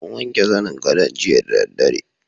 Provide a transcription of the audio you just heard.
An wanke zanin gadon jiya da dare.